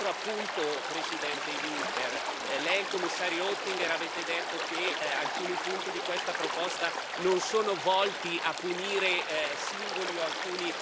Un altro appunto, Presidente Juncker Lei e il Commissario Oettinger avete detto che alcuni punti di questa proposta non sono volti a punire singoli o alcuni